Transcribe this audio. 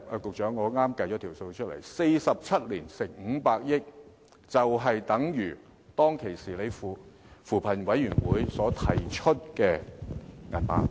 局長，我剛才計算了 ：47 年乘以500億元，便相等於扶貧委員會當時提出的金額。